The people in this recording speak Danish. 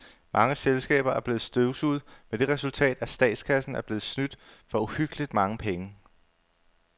Mange selskaber er blevet støvsuget med det resultat, at statskassen er blevet snydt for uhyggeligt mange penge.